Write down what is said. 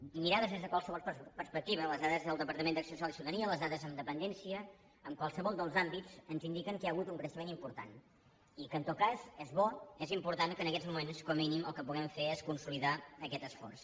i mirades des de qualsevol perspectiva les dades del departament d’acció social i ciutadania les da des en dependència en qualsevol dels àmbits ens indiquen que hi ha hagut un creixement important i que en tot cas és bo és important que en aquests moments com a mínim el que puguem fer és consolidar aquest esforç